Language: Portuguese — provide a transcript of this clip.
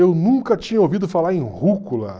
Eu nunca tinha ouvido falar em rúcula.